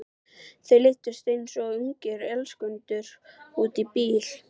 Þau leiddust eins og ungir elskendur út í bíl.